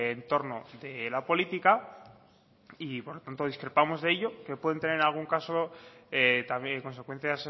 en torno de la política y por tanto discrepamos de ello que pueden tener en algún caso también consecuencias